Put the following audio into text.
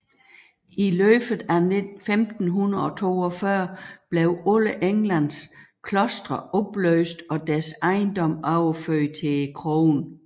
I løbet af 1542 blev alle Englands klostre opløst og deres ejendom overført til kronen